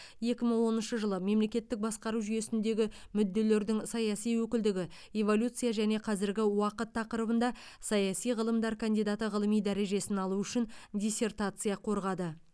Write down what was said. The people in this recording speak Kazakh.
екі мың оныншы жылы мемлекеттік басқару жүйесіндегі мүдделердің саяси өкілдігі эволюция және қазіргі уақыт тақырыбында саяси ғылымдар кандидаты ғылыми дәрежесін алу үшін диссертация қорғады